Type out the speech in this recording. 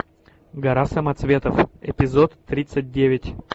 гора самоцветов эпизод тридцать девять